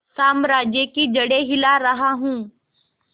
साम्राज्य की जड़ें हिला रहा हूं